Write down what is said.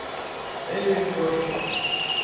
Eivind Jørstad